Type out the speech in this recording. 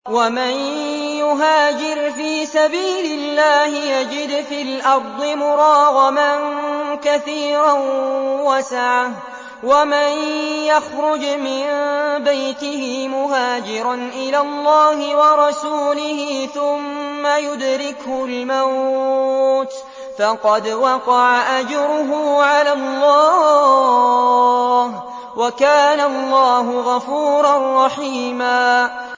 ۞ وَمَن يُهَاجِرْ فِي سَبِيلِ اللَّهِ يَجِدْ فِي الْأَرْضِ مُرَاغَمًا كَثِيرًا وَسَعَةً ۚ وَمَن يَخْرُجْ مِن بَيْتِهِ مُهَاجِرًا إِلَى اللَّهِ وَرَسُولِهِ ثُمَّ يُدْرِكْهُ الْمَوْتُ فَقَدْ وَقَعَ أَجْرُهُ عَلَى اللَّهِ ۗ وَكَانَ اللَّهُ غَفُورًا رَّحِيمًا